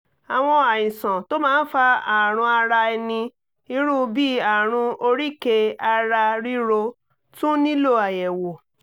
àwọn àìsàn tó máa ń fa àrùn ara ẹni irú bí àrùn oríkèé-ara-rírò tún nílò àyẹ̀wò